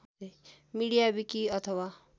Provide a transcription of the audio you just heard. media wiki अथवा